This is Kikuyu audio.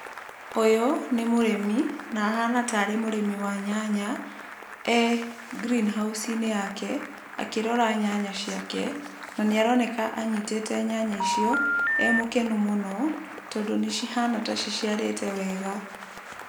Ũyũ nĩ mũrimi na ahana tarĩ mũrĩmi wa nyanya e Greenhouse-ĩnĩ yake, na nĩaroneka e mũkenu mũno tondũ nĩ cihana ta ciciarĩte wega.